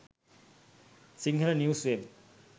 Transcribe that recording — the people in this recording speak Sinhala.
sinhala news web